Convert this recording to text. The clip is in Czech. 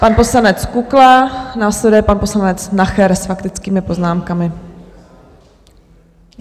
Pan poslanec Kukla, následuje pan poslanec Nacher - s faktickými poznámkami.